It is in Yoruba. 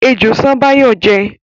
Ejò ṣán Báyọ̀ jẹ́